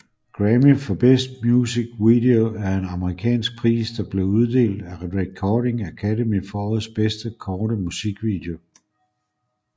Grammy for Best Music Video er en amerikansk pris der blev uddelt af Recording Academy for årets bedste korte musikvideo